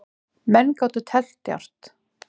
Menn gátu teflt djarft.